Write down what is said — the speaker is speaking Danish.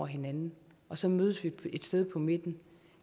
hinanden og så mødes et sted på midten